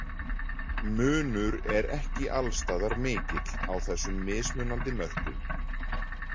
Munur er ekki alls staðar mikill á þessum mismunandi mörkum.